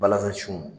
Balanzan sun